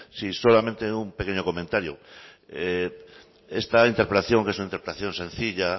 sí solamente un pequeño comentario esta interpelación que es una interpelación sencilla